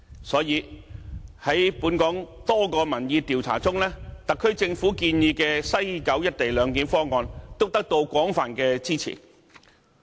所以，在本港多項民意調查中，特區政府建議的西九"一地兩檢"方案，都得到廣泛支持。